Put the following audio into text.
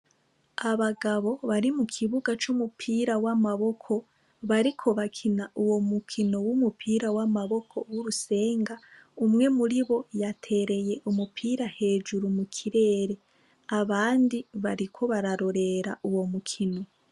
Abagabo bari mu kibuga c'umupira w'amaboko bariko bakina uwo mukino w'umupira w'amaboko w'urusenga. Umwe muiri bo yatereye umupira hejuru mu kirere, abandi bariko bararorera uwo mukino.